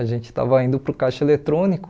A gente estava indo para o caixa eletrônico,